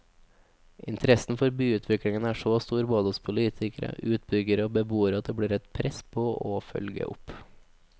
Interessen for byutvikling er så stor både hos politikere, utbyggere og beboere at det blir et press på å følge opp.